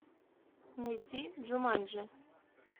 найти джуманджи